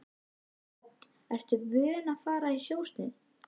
Hödd: Ertu vön að fara í sjósund?